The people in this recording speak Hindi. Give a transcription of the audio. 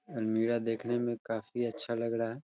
अलमीरा देखने में काफी अच्छा लग रहा है |